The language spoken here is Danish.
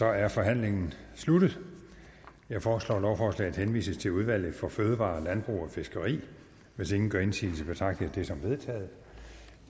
er forhandlingen sluttet jeg foreslår at lovforslaget henvises til udvalget for fødevarer landbrug og fiskeri hvis ingen gør indsigelse betragter jeg det som vedtaget